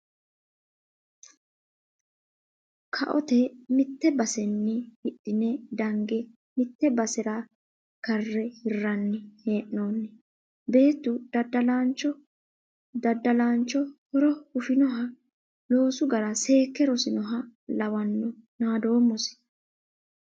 Koate mite baseni hidhine dange mite basera kare hiranni hee'noonni beettu daddalancho horo hufinoha loosu gara seekke rosinoha lawano naadoommosi.